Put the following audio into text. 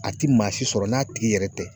A ti maa si sɔrɔ n'a tigi yɛrɛ tɛ.